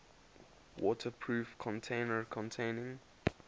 waterproof container containing